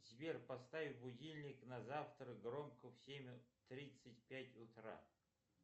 сбер поставь будильник на завтра громко в семь тридцать пять утра